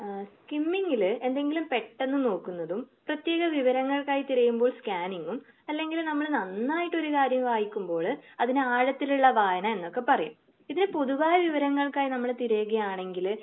ഏഹ് കിംമിങ്ങില് എന്തെങ്കിലും പെട്ടെന്ന് നോക്കുന്നതും പ്രതേക വിവരങ്ങൾക്കായി തിരയുമ്പോൾ ക്യാനിങ്ങും അല്ലെങ്കിൽ നമ്മള് നന്നായിട്ടൊരു കാര്യം വായിക്കുമ്പോള് അതിന് ആഴത്തിലുള്ള വായന എന്നൊക്കെ പറയും. ഇതിന് പൊതുവായ വിവരങ്ങൾക്കായിട്ട് നമ്മള് തിരയുകയാണെങ്കില്